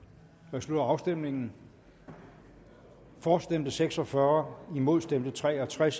jeg slutter afstemningen for stemte seks og fyrre imod stemte tre og tres